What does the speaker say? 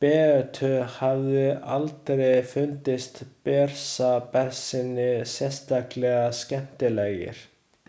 Beötu hafði aldrei fundist Bersabesynir sérstaklega skemmtilegir.